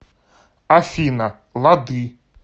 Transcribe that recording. афина лады